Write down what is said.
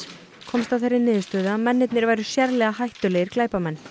komst að þeirri niðurstöðu að mennirnir væru sérlega hættulegir glæpamenn